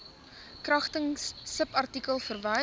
kragtens subartikel wysig